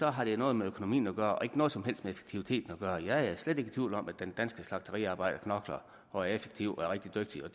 har det noget med økonomien at gøre og ikke noget som helst med effektiviteten at gøre jeg er slet ikke i tvivl om at den danske slagteriarbejder knokler og er effektiv og rigtig dygtig